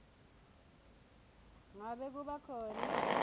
ngabe kuba khona